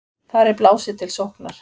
Þar er blásið til sóknar.